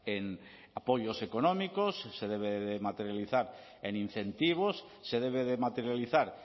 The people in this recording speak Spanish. en apoyos económicos se debe de materializar en incentivos se debe de materializar